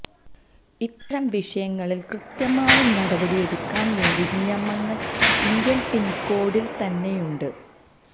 ഇത്തരം വിഷയങ്ങളില് കൃത്യമായ നടപടി എടുക്കാന് വേണ്ട നിയമങ്ങള് ഇന്ത്യന് പീനല്കോഡില്ത്തന്നെയുണ്ട്